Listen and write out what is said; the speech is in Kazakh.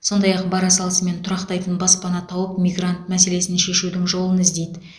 сондай ақ бара салысымен тұрақтайтын баспана тауып мигрант мәселесін шешудің жолын іздейді